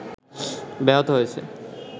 ব্যাহত হয়েছে